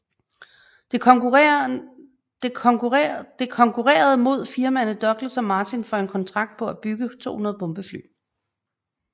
Det konkurrerede imod firmaerne Douglas og Martin for en kontrakt på at bygge 200 bombefly